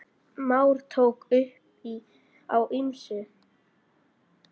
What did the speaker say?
Már tók upp á ýmsu.